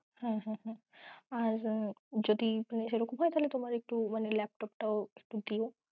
হ্যাঁ হ্যাঁ হ্যাঁ, আর যদি সেরকম হয় তাহলে মানে laptop দিও।